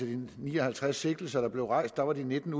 de ni og halvtreds sigtelser der blev rejst var de nitten